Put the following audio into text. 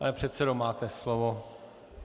Pane předsedo, máte slovo.